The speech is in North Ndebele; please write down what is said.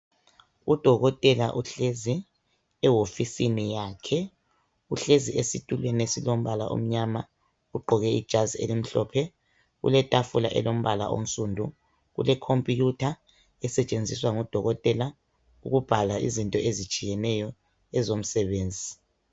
Udokotela uhlezi ehofisini yakhe uhlezi esitulweni esilombala omnyama ugqoke ijazi elimhlophe kuletafula elombala onsundu kule khompuyutha esetshenziswa ngudokotela ukubhala izinto ezitshiyeneyo ezomsebenzi.